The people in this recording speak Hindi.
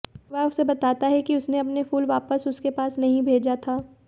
वह उसे बताता है कि उसने अपने फूल वापस उसके पास नहीं भेजा था